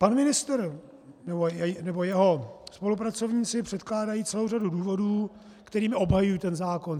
Pan ministr nebo jeho spolupracovníci předkládají celou řadu důvodů, kterými obhajují ten zákon.